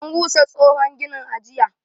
An rusa tsohon ginin, a jiya.